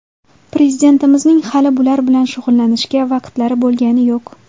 Prezidentimizning hali bular bilan shug‘ullanishga vaqtlari bo‘lgani yo‘q.